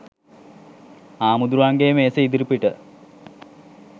හාමුදුරුවන්ගේ මේසේ ඉදිරිපිට